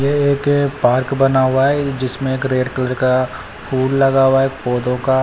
ये एक पार्क बना हुआ है ये जिसमें एक रेड कलर का फूल लगा हुआ है। पौधों का --